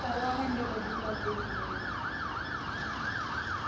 કરવા માંડે બધું Shopping વગેરે હમ